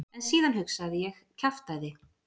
En síðan hugsaði ég: kjaftæði.